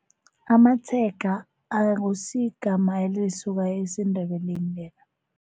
Amatshega akusiyigama elisuka esiNdebeleni leli.